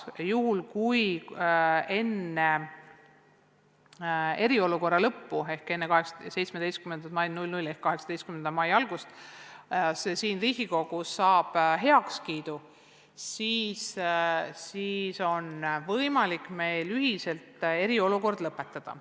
Juhul, kui enne eriolukorra lõppu ehk enne 17. mai südaööd ehk 18. mai algust see siin Riigikogus saab heakskiidu, on võimalik meil ühiselt eriolukord lõpetada.